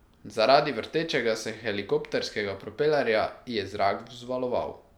Zaradi vrtečega se helikopterskega propelerja je zrak vzvaloval.